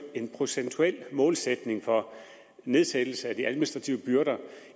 en procentuel målsætning for nedsættelse af de administrative byrder